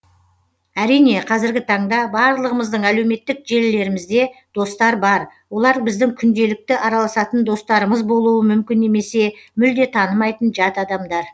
әрине қазіргі таңда барлығымыздың әлеуметтік желілерімізде достар бар олар біздің күнделікті араласатын достарымыз болуы мүмкін немесе мүлде танымайтын жат адамдар